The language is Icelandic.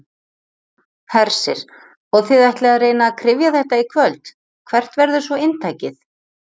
Hersir: Og þið ætlið að reyna að kryfja þetta í kvöld, hvert verður svona inntakið?